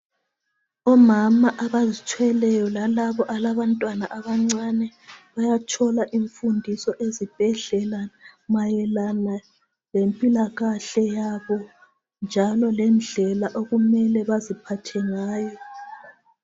Omama abazithweleyo lalabo alabantwana abancane, bayathola imfundiso ezibhedlela, mayelana lempilakahle yabo njalo lendlela okumele baziphathe ngayo.